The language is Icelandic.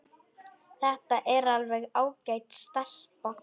Þetta er alveg ágæt stelpa.